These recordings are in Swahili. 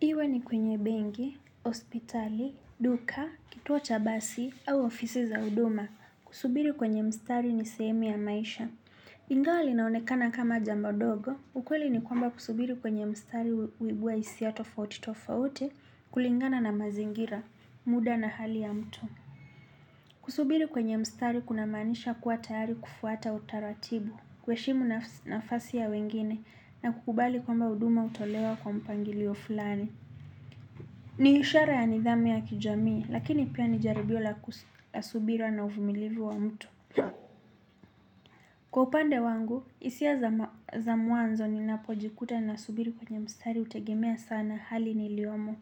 Iwe ni kwenye benki, hospitali, duka, kituo cha basi au ofisi za huduma kusubiri kwenye mstari ni sehemu ya maisha. Ingawa linaonekana kama jambo dogo, ukweli ni kwamba kusubiri kwenye mstari huibua hisia tofauti tofauti kulingana na mazingira, muda na hali ya mtu. Kusubiri kwenye mstari kunamaanisha kuwa tayari kufuata utaratibu kuheshimu nafasi ya wengine na kukubali kwamba huduma hutolewa kwa mpangilio fulani. Ni ishara ya nidhami ya kijamii lakini pia ni jaribio la subira na uvumilivu wa mtu. Kwa upande wangu, hisia za mwanzo ninapojikuta nasubiri kwenye mstari hutegemea sana hali niliyomo.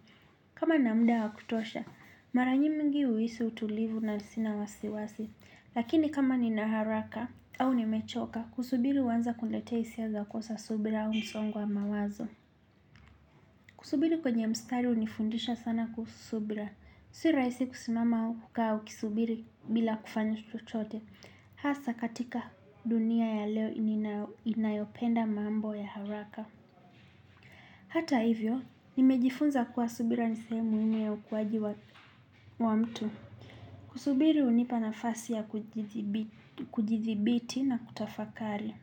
Kama nina muda wa kutosha, mara nyingi huisi utulivu na sina wasiwasi. Lakini kama nina haraka au nimechoka, kusubiri huanza kuleta hisia za kosa subira au msongo wa mawazo. Kusubiri kwenye mstari hunifundisha sana kusubira. Si rahisi kusimama au kukaa ukisubiri bila kufanya chochote. Hasa katika dunia ya leo inayopenda mambo ya haraka. Hata hivyo, nimejifunza kuwa subira ni sehemu nyingi ya ukuwaji wa mtu. Kusubiri hunipa nafasi ya kujithibiti na kutafakari.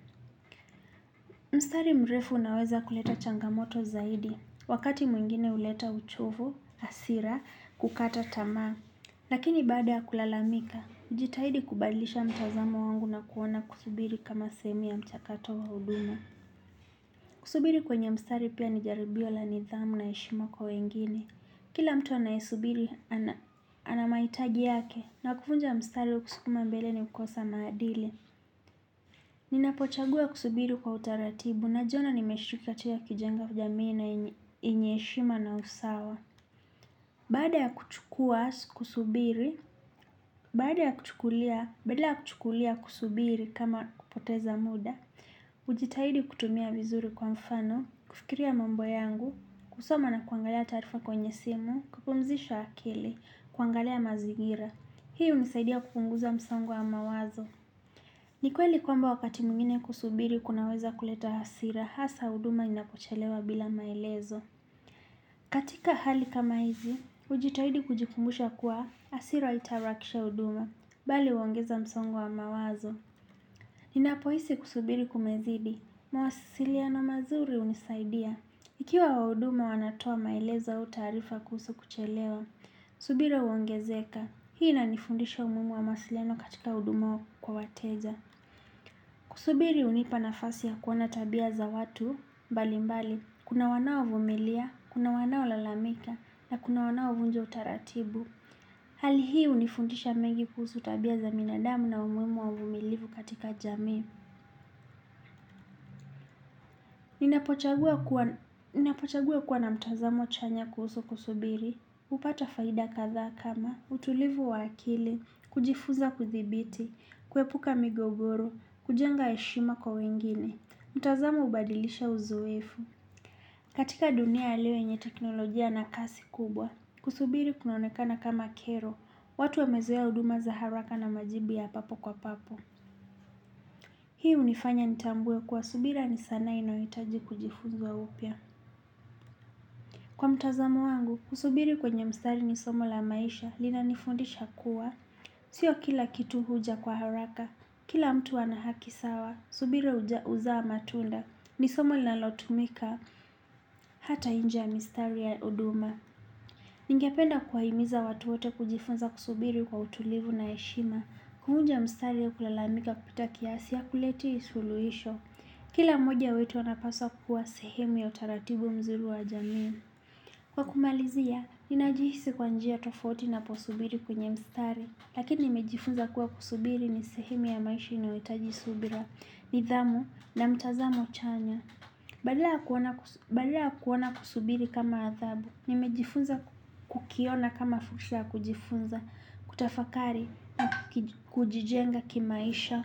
Mstari mrefu unaweza kuleta changamoto zaidi. Wakati mwingine huleta uchovu, hasira, kukata tamaa. Lakini baada ya kulalamika, jitahidi kubadilisha mtazamo wangu na kuona kusubiri kama sehemu ya mchakato wa huduma. Kusubiri kwenye mstari pia ni jaribio la nidhamu na heshima kwa wengine. Kila mtu anayesubiri ana mahitaji yake na kuvunja mstari kukusukuma mbele ni kukosa maadili. Ninapochagua kusubiri kwa utaratibu najiona nimeshukia tia kijenga ku jamii na yenye heshima na usawa. Baada ya kuchukua kusubiri, badala ya kuchukulia kusubiri kama kupoteza muda, hujitahidi kutumia vizuri kwa mfano, kufikiria mambo yangu, kusoma na kuangalia taarifa kwenye simu, kupumzisha akili, kuangalia mazingira. Hii hunisaidia kupunguza msongo wa mawazo. Ni kweli kwamba wakati mwingine kusubiri kunaweza kuleta hasira hasa huduma inapochelewa bila maelezo. Katika hali kama hizi, hujitahidi kujikumbusha kuwa hasira haitaharakisha huduma, bali huongeza msongo wa mawazo. Ninapohisi kusubiri kumezidi, mawasiliano mazuri hunisaidia. Ikiwa wahuduma wanatoa maelezo au taarifa kuhusu kuchelewa, subira huongezeka. Hii inanifundisha umuhimu wa mawasiliano katika huduma wa kwa wateja. Kusubiri hunipa nafasi ya kuona tabia za watu, mbali mbali, kuna wanaovumilia, kuna wanaolalamika, na kuna wanao vunja utaratibu. Hali hii hunifundisha mengi kuhusu tabia za binadamu na umuhimu wa uvumilivu katika jamii. Ninapochagua kuwa na mtazamo chanya kuhusu kusubiri, hupata faida kadhaa kama, utulivu wa akili, kujifuza kuthibiti, kuepuka migogoro, kujenga heshima kwa wengine. Mtazamo hubadilisha uzoefu. Katika dunia ya leo yenye teknolojia na kasi kubwa. Kusubiri kunaonekana kama kero. Watu wamezoea huduma za haraka na majibu ya papo kwa papo. Hii hunifanya nitambue kwa subira ni sanaa inayohitaji kujifuzwa upya. Kwa mtazamo wangu, kusubiri kwenye mstari ni somo la maisha. Linanifundisha kuwa sio kila kitu huja kwa haraka. Kila mtu ana haki sawa. Subira huzaa matunda. Ni somo linalotumika. Hata nje ya mistari ya huduma. Ningependa kuwahimiza watu wote kujifunza kusubiri kwa utulivu na heshima. Kuvunja mstari ya kulalamika kupita kiasi hakuleti suluhisho. Kila mmoja wetu anapaswa kuwa sehemu ya utaratibu mzuri wa jamii. Kwa kumalizia, ninajihisi kwa njia tofauti naposubiri kwenye mstari. Lakini nimejifunza kuwa kusubiri ni sehemu ya maisha inayohitaji subira nidhamu na mtazamo chanya. Badala ya kuona kusubiri kama adhabu nimejifunza kukiona kama fursa ya kujifunza kutafakari kujijenga kimaisha.